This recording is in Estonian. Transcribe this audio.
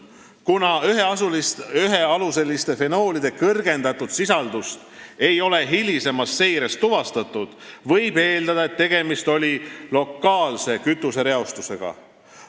Kuna ühealuseliste fenoolide suurenenud sisaldust ei ole hilisemas seires tuvastatud, võib eeldada, et tegemist oli lokaalse kütusereostusega.